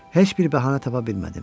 Heç bir bəhanə tapa bilmədim.